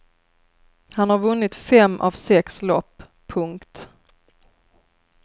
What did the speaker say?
Han har vunnit fem av sex lopp. punkt